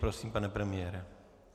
Prosím, pane premiére.